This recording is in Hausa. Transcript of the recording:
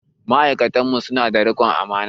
Ma'aikatan mu su na da riƙon amana